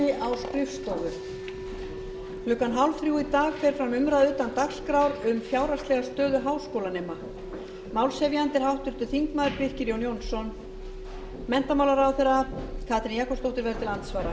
um klukkan fjórtán þrjátíu í dag fer fram umræða utan dagskrár um fjárhagslega stöðu háskólanema málshefjandi er háttvirtur þingmaður birkir jón jónsson menntamálaráðherra katrín jakobsdóttir verður til andsvara